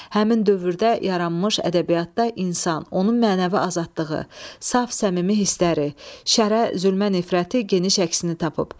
Həmin dövrdə yaranmış ədəbiyyatda insan, onun mənəvi azadlığı, saf səmimi hissləri, şərə, zülmə nifrəti geniş əksini tapıb.